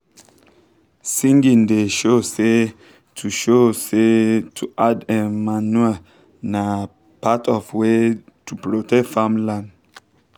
singing da show say to show say to add um manure na um part of um way to protect farm land